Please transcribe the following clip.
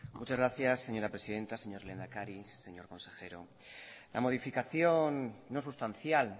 muchas gracias señora presidenta señor lehendakari señor consejero la modificación no sustancial